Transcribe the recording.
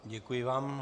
Děkuji vám.